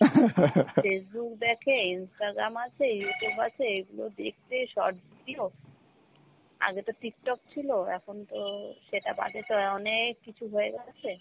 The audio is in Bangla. Facebook দেখে, instagram আছে, Youtube আছে, এগুলো দেখতে short video। আগে তো Tiktok ছিলো এখন তো সেটা বাদে তো অনেক কিছু হয়ে গেছে